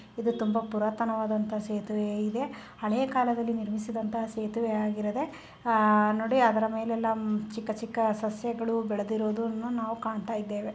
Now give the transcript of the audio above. ಇದು ತುಂಬಾ ಪುರಾತನವಾದಂತ ಸೇತುವೆ. ಇಲ್ಲಿ ಹಳೇಕಾಲದಲ್ಲಿ ನಿರ್ಮಿಸಿದಂತ ಸೇತುವೆಯಾಗಿರದೆ ಆ ನೋಡಿ ಆದ್ರ ಮೇಲೆಲ್ಲಾ ಚಿಕ್ಕ ಚಿಕ್ಕ ಸಸ್ಯಗಳು ಬೆಳೆದಿರೋದನ್ನ ನಾವು ಕಾಣ್ತಾಇದ್ದೇವೆ.